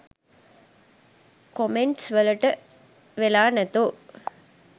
comments වලට වෙලා නැතෝ